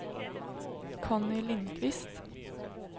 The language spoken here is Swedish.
Conny Lindquist